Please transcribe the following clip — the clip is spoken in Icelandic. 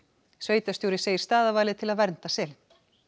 sveitarstjóri segir staðarvalið til að vernda selinn